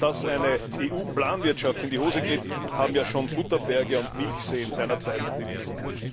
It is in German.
Und dass eine EU Planwirtschaft in die Hose geht, haben ja schon Butterberge und Milchseen seinerzeit bewiesen.